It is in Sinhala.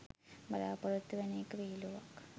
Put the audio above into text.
බලාපොරොත්තු වෙන එක විහිලුවක්.